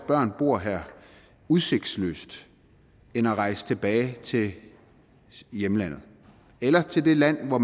børn bor her udsigtsløst end at rejse tilbage til hjemlandet eller til det land hvor